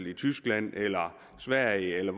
i tyskland eller sverige eller